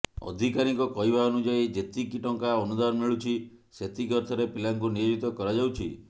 ଅଧିକାରୀଙ୍କ କହିବା ଅନୁଯାୟୀ ଯେତିକି ଟଙ୍କା ଅନୁଦାନ ମିଳୁଛି ସେତିକି ଅର୍ଥରେ ପିଲାଙ୍କୁ ନିୟୋଜିତ କରାଯାଉଛି